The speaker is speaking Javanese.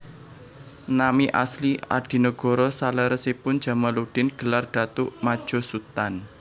Nami asli Adinegoro saleresipun Djamaluddin gelar Datuk Madjo Sutan